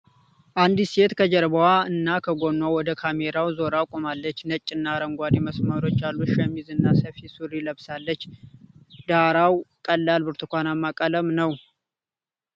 አንዲት ሴት ከጀርባዋ እና ከጎኗ ወደ ካሜራው ዞራ ቆማለች። ነጭ እና አረንጓዴ መስመሮች ያሉት ሸሚዝ እና ሰፊ ሱሪ ለብሳለች፤ ዳራው ቀላል ብርቱካናማ ቀለም ነው።